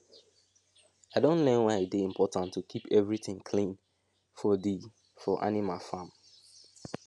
i don learn why e dey important to keep every tin clean for di for animal farm